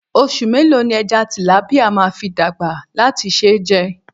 Oṣù mélòó ni ẹja tìlápíà máa fi dàgbà láti ṣe é jẹ?